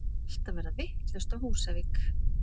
Allt að verða vitlaust á Húsavík!!!!!